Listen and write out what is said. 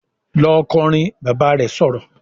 "Lọ kọrin!", Bàbá rẹ̀ sọ̀rọ̀